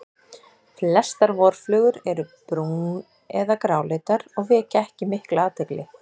Flestar vorflugur eru brún- eða gráleitar og vekja ekki mikla athygli.